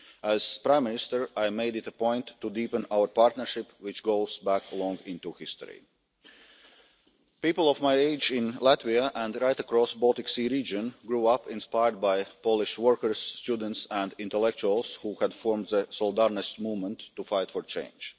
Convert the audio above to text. As Prime Minister, I made it a point to deepen our partnership, which goes back long into history. People of my age in Latvia, and right across the Baltic Sea region, grew up inspired by Polish workers, students and intellectuals who had formed the Solidarnosc movement to fight for change.